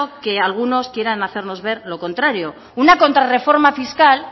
que algunos quieran hacernos ver lo contrario una contra reforma fiscal